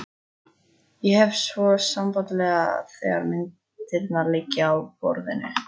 Ég hef svo samband þegar myndirnar liggja á borðinu.